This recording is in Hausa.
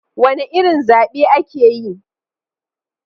Wane irin zabe ake yi?